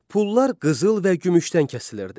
Pullar qızıl və gümüşdən kəsilirdi.